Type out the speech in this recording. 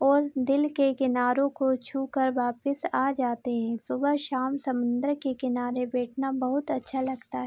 और दिल के किनारे को छूकर वापस आ जाते हैं सुबह शाम समुन्द्र के किनारे बैठना बहुत अच्छा लगता है।